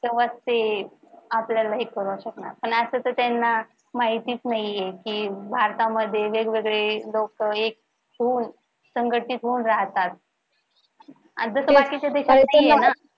तेव्हाच ते आपल्याला हे पुरवू शकणार आणि आता तर त्यांना माहितीच नाहीये कि भारतामध्ये वेगवेगळे लोक एक होऊन संघटित होऊन राहतात. जस बाकीच्या देशात नाहीये ना.